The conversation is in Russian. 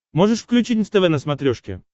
можешь включить нств на смотрешке